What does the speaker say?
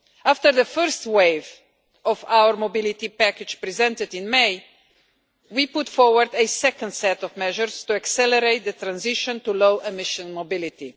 After the first wave of our mobility package, presented in May, we put forward a second set of measures to accelerate the transition to low emission mobility.